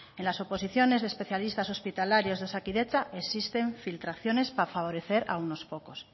en las oposiciones de especialistas hospitalarios de osakidetza existen filtraciones para favorecer a unos pocos